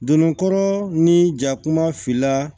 Donnikɔrɔ ni ja kuma filanan